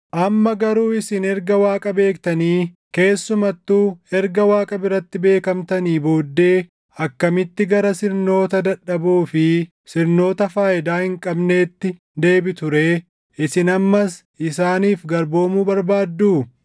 Amma garuu isin erga Waaqa beektanii, keessumattuu erga Waaqa biratti beekamtanii booddee akkamitti gara sirnoota dadhaboo fi sirnoota faayidaa hin qabneetti deebitu ree? Isin ammas isaaniif garboomuu barbaadduu?